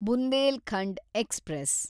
Bundelkhand express